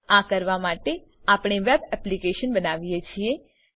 આ કરવા માટે આપણે વેબ એપ્લિકેશન બનાવીએ છીએ